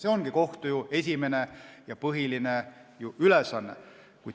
See ongi kohtu esimene ja põhiline ülesanne.